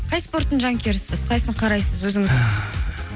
қай спортың жанкүйерісіз қайсысын қарайсыз өзіңіз